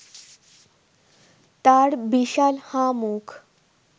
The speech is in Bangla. তার বিশাল হাঁ মুখ